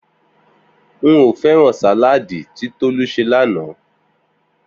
N ò fé̩ràn sàláàdì tí Tolú s̩e lánàá